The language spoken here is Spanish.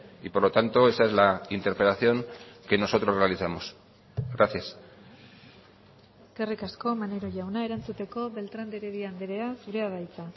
y por lo tanto esa es la interpelación que nosotros realizamos gracias eskerrik asko maneiro jauna erantzuteko beltrán de heredia andrea zurea da hitza